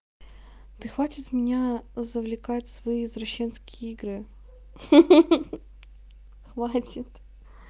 да хватит меня завлекать в свои извращенские игры ха-ха хватит